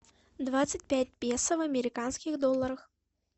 двадцать пять песо в американских долларах